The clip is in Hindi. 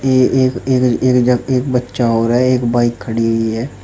ये एक एक एक जग एक बच्चा और है एक बाइक खड़ी है।